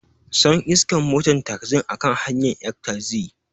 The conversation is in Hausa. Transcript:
Sun iskan moton taxin a kan hanyan ƴan taxi.